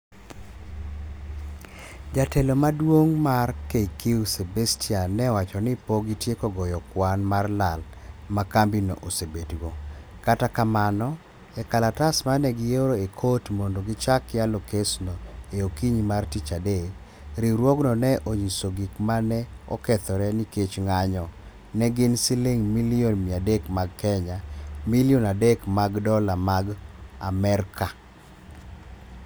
Jatelo maduong' mar KQ Sebastian ne owacho ni pok gitieko goyo kwan mar lal ma kambi no osebet go, kata kamano, e klatas mane gi oro e kot mondo gichak yalo kes no e okinyi mar tich adek, riwruogno ne onyiso gik ma ne okethore ni kech ng'anyo ne gin siling milion 300 mag kenya, ( milion adek mag dola mag Amerka)